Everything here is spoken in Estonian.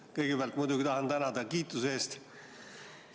Kõigepealt muidugi tahan tänada kiituse eest.